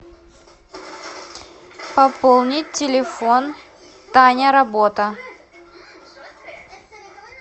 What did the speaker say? пополнить телефон таня работа